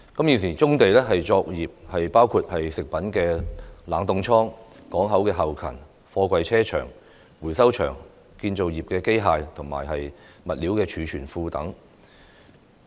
現時棕地作業包括食品冷凍倉、港口後勤、貨櫃車場、回收場、建造業機械及物料儲存庫等。